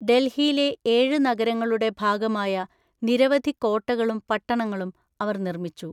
ഡൽഹിയിലെ ഏഴ് നഗരങ്ങളുടെ ഭാഗമായ നിരവധി കോട്ടകളും പട്ടണങ്ങളും അവർ നിർമ്മിച്ചു.